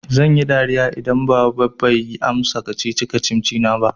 Zan yi dariya idan baba bai iya amsa kacici-kacici na ba.